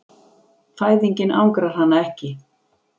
Fæðingin angrar hana ekki.